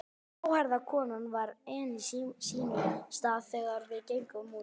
Gráhærða konan var enn á sínum stað þegar við gengum út.